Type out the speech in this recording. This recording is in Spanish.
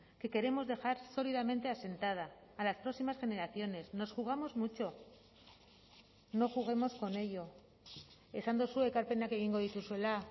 que queremos dejar sólidamente asentada a las próximas generaciones nos jugamos mucho no juguemos con ello esan duzue ekarpenak egingo dituzuela